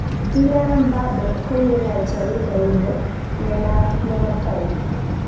Kylian Mbappe kokinai Jaridaindet ne naat nebo Time.